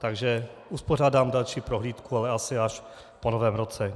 Takže uspořádám další prohlídku, ale asi až po Novém roce.